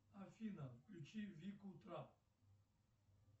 афина включи вику трап